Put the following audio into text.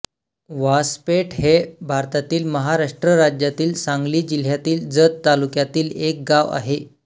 व्हासपेठ हे भारतातील महाराष्ट्र राज्यातील सांगली जिल्ह्यातील जत तालुक्यातील एक गाव आहे